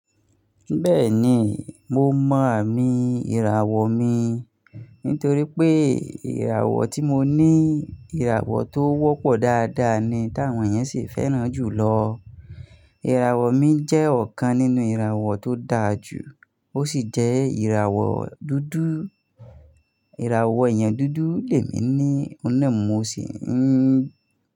Bẹ́ẹ̀ni, mo mọ àmì ìràwọ̀ mi nítorí pé ìràwọ̀ tí mo ní ìràwọ̀ tó wọ́pọ̀ dáadáa ni táwọn èèyàn sì fẹ́ràn jùlọ. Ìràwọ̀ mi jẹ́ ọ̀kan nínú ìràwọ̀ tó dáa jù, ó sì jẹ́ ìràwọ̀ dúdú. Ìràwọ̀ èèyàn dúdú lèmi ní, òun náà mo sì ń.